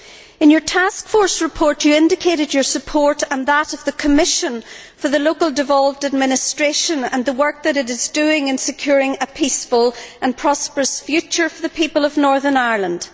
In your task force report, you indicated your support and that of the Commission for the local devolved administration and the work that it is doing in securing a peaceful and prosperous future for the people of Northern Ireland.